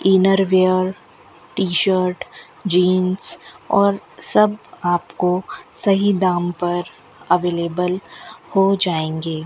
Innerwear T shirt jeans और सब आपको सही दाम पर अवेलेबल हो जाएंगे।